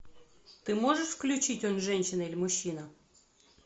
ты можешь включить он женщина или мужчина